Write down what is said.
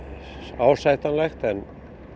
ásættanlegt en